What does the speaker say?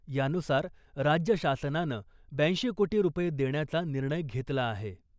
यानुसार राज्य शासनानं ब्याऐंशी कोटी रुपये देण्याचा निर्णय घेतला आहे .